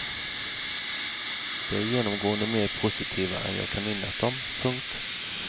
De är genomgående mer positiva än jag kan minnas dem. punkt